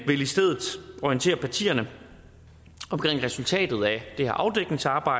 orientere partierne om resultatet af det her afdækningsarbejde